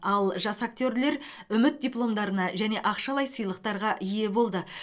ал жас актерлер үміт дипломдарына және ақшалай сыйлықтарға ие болды